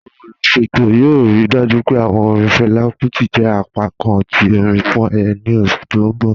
Awọn oluṣetọ yoo rii dájú pé awọn orin Fela Kuti jẹ apákàn ti orin fún ayẹyẹ ni oṣù ti n bọ̀